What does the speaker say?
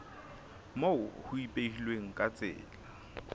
moo ho ipehilweng ka tsela